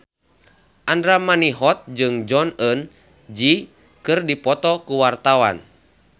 Andra Manihot jeung Jong Eun Ji keur dipoto ku wartawan